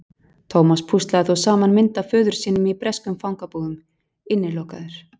Thomas púslaði þó saman mynd af föður sínum í breskum fangabúðum: Innilokaður.